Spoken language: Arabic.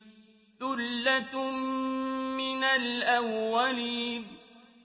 ثُلَّةٌ مِّنَ الْأَوَّلِينَ